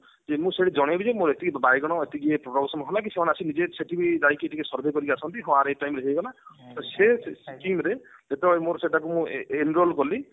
କି ମୁଁ ସେଠି ଜଣେଇ ବି ଯେ ମୋର ଏତିକି ବାଇଗଣ ଏତିକି ଇଏ production ହେଲା କି ସେମାନେ ଆସି ନିଜେ ସେଠି ଯାଇକି ଟିକେ survey କରିକି ଆସନ୍ତି କି ହଁ ଆର ଏଇ time ରେ ହେଇଗଲା ତ ସେ skim ରେ ଯେତେବେଳେ ମୁଁ ମୋର enroll କଲି